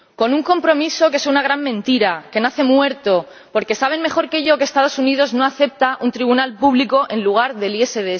Con un compromiso que es una gran mentira, que nace muerto, porque saben mejor que yo que los Estados Unidos no aceptan un tribunal público en lugar del ISDS.